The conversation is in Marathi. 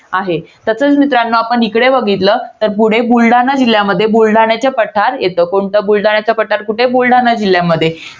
आहे. तसेच मित्रांनो आपण इकडे बघितलं. तर पुढे बुलढाणा जिल्ह्यामध्ये, बुलढाण्याचे पठार येतं. कोणतं? बुलढाण्याच पठार कुठे? बुलढाणा जिल्ह्यामध्ये.